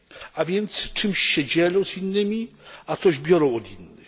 A więc czymś się dzielą z innymi, a coś biorą od innych.